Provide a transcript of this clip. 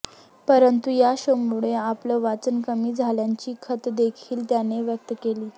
परंतु या शोमुळे आपलं वाचन कमी झाल्याची खंतदेखील त्याने व्यक्त केली